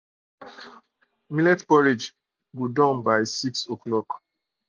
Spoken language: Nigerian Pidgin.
millet porridge um don um by six